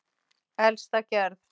Elsta gerð